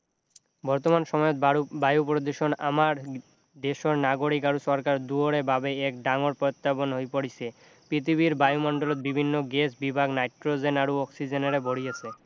বৰ্তমান সময়ত বায়ু প্ৰদূষণ আমাৰ দেশৰ নাগৰিক আৰু চৰকাৰ দুয়োৰে বাবে এক ডাঙৰ প্ৰত্যাহ্বান হৈ পৰিছে পৃথিৱীৰ বায়ুমণ্ডলত বিভিন্ন গেছবিভাগ নাইট্ৰজেন আৰু অক্সিজেনেৰে ভৰি আছে